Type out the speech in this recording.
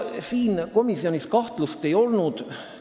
Siin komisjonis kahtlust ei olnud.